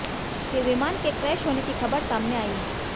फिर विमान के क्रैश होने की खबर सामने आई है